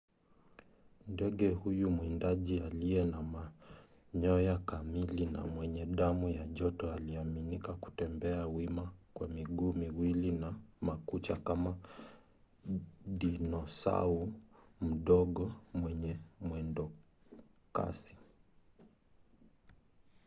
ndege huyu mwindaji aliye na manyoya kamili na mwenye damu ya joto aliaminika kutembea wima kwa miguu miwili na makucha kama dinosau mdogo mwenye mwendokasi